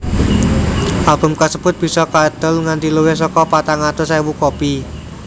Album kasebut bisa kaedol nganti luwih saka patang atus ewu kopi